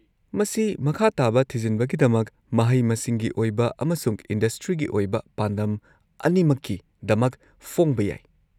-ꯃꯁꯤ ꯃꯈꯥ ꯇꯥꯕ ꯊꯤꯖꯤꯟꯕꯒꯤꯗꯃꯛ, ꯃꯍꯩ-ꯃꯁꯤꯡꯒꯤ ꯑꯣꯏꯕ ꯑꯃꯁꯨꯡ ꯏꯟꯗꯁꯇ꯭ꯔꯤꯒꯤ ꯑꯣꯏꯕ ꯄꯥꯟꯗꯝ ꯑꯅꯤꯃꯛꯀꯤꯗꯃꯛ ꯐꯣꯡꯕ ꯌꯥꯏ꯫